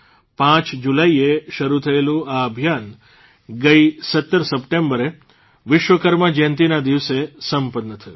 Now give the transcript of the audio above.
પાંચ જુલાઇએ શરૂ થયેલું આ અભિયાન ગઇ ૧૭ સપ્ટેંબરે વિશ્વકર્મા જયંતિના દિવસે સંપન્ન થયું